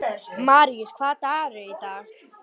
Maríus, hvaða dagur er í dag?